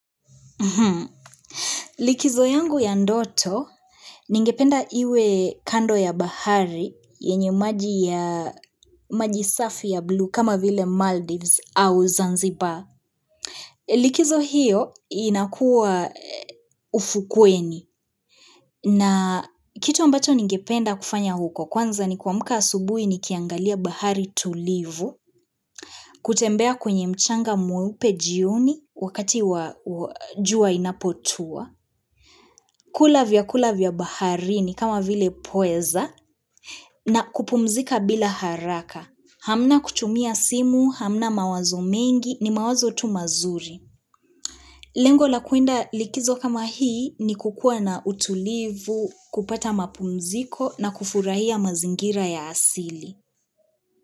Likizo yangu ya ndoto, ningependa iwe kando ya bahari, yenye maji safi ya buluu kama vile Maldives au Zanzibar. Likizo hiyo inakua ufukweni. Na kitu ambacho ningependa kufanya huko, kwanza ni kuamka asubuhi nikiangalia bahari tulivu, kutembea kwenye mchanga mweupe jioni wakati wa jua inapotua. Kula vyakula vya bahari ni kama vile pweza na kupumzika bila haraka. Hamna kuchumia simu, hamna mawazo mengi ni mawazo tu mazuri. Lengo la kuenda likizo kama hii ni kukua na utulivu, kupata mapumziko na kufurahia mazingira ya asili.